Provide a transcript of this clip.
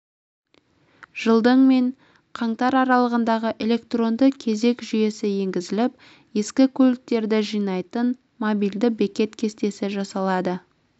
жылдың мен қаңтар аралығында электронды кезек жүйесі енгізіліп ескі көліктерді жинайтын мобильді бекет кестесі жасалады